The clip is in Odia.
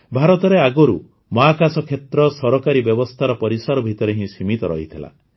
ଭାରତରେ ଆଗରୁ ମହାକାଶ କ୍ଷେତ୍ର ସରକାରୀ ବ୍ୟବସ୍ଥାର ପରିସର ଭିତରେ ହିଁ ସୀମିତ ରହିଥିଲା